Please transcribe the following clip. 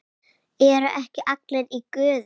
ERU EKKI ALLIR Í GUÐI?